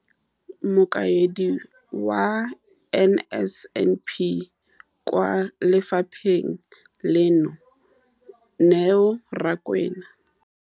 Mokaedi wa NSNP kwa lefapheng leno, Neo Rakwena,